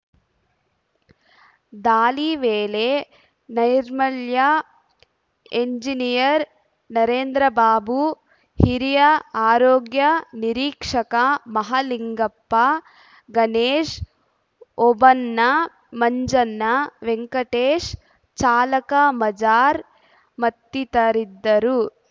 ದಾಳಿ ವೇಳೆ ನೈರ್ಮಲ್ಯ ಎಂಜಿನಿಯರ್‌ ನರೇಂದ್ರಬಾಬು ಹಿರಿಯ ಆರೋಗ್ಯ ನಿರೀಕ್ಷಕ ಮಹಲಿಂಗಪ್ಪ ಗಣೇಶ್‌ ಓಬಣ್ಣ ಮಂಜಣ್ಣ ವೆಂಕಟೇಶ್‌ ಚಾಲಕ ಮಜಾರ್‌ ಮತ್ತಿತರರಿದ್ದರು